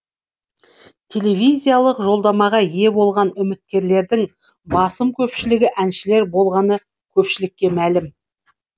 телевизиялық жолдамаға ие болған үміткерлердің басым көпшілігі әншілер болғаны көпшілікке мәлім